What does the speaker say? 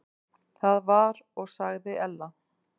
Það var og sagði Ella.